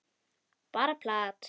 Bara plat.